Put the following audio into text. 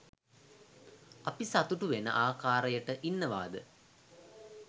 අපි සතුටු වෙන ආකාරයට ඉන්නවාද